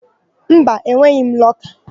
Mba, enweghị m lọka.